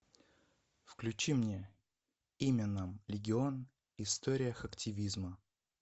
включи мне имя нам легион история хактивизма